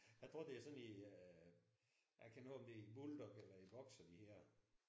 Jeg tror det er sådan en jeg kender ikke om det er en bulldog eller en boxer de hedder